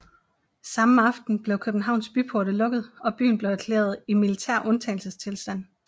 Samme aften blev Københavns byporte lukket og byen blev erklæret i militær undtagelsestilstand